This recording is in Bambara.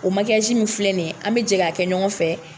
O min filɛ nin ye, an be jɛ ka kɛ ɲɔgɔn fɛ.